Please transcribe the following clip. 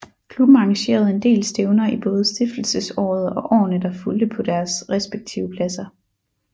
Klubben arrangerede en del stævner i både stiftelsesåret og årene der fulgte på deres respektive pladser